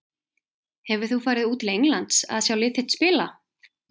Hefur þú farið út til Englands að sjá lið þitt spila?